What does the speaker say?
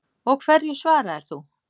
Og hverju svaraðir þú?